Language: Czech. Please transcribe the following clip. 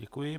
Děkuji.